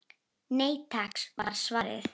Nei takk var svarið.